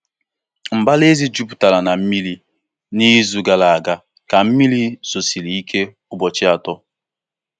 Mbara ezi jupụtara na mmiri n'izu gara aga ka mmiri zosiri ike ụbọchị atọ.